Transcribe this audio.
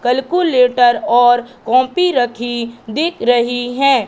Calculator और copy रखी दिख रही है।